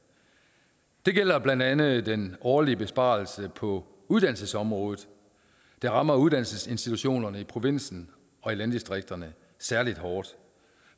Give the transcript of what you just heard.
det gælder blandt andet den årlige besparelse på uddannelsesområdet der rammer uddannelsesinstitutionerne i provinsen og i landdistrikterne særlig hårdt